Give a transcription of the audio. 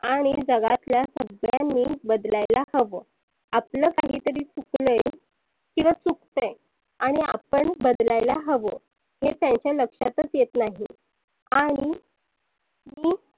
आणि जगातल्या सगळ्यांनीच बदलायला हवं आपलं काही तरी चुकलय किंवा चुकतय आणि आपण बदलायला हवं हे त्यांच्या लक्षातच येत नाही. आणि तु